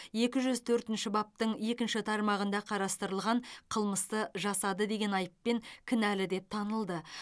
екі жүз төртінші бабының екінші тармағында қарастырылған қылмысты жасады деген айыппен кінәлі деп танылды